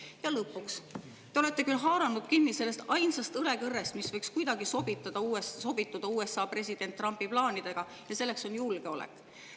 Ja lõpuks, te olete haaranud kinni sellest ainsast õlekõrrest, mis võiks kuidagi sobituda USA presidendi Trumpi plaanidega, ja selleks on julgeolek.